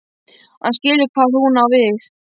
Hann skilur hvað hún á við.